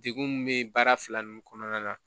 Degun min bɛ baara fila ninnu kɔnɔna na